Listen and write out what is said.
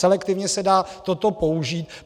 Selektivně se dá toto použít.